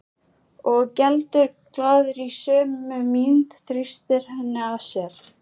Og geldur glaður í sömu mynt, þrýstir henni að sér.